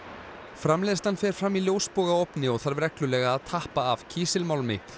framleiðslan fer fram í ljósbogaofni og þarf reglulega að tappa af kísilmálmi